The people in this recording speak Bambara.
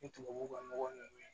Ni tubabu ka nɔgɔ nunnu